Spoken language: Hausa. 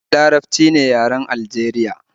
E, Larabci ne yaren Aljeriya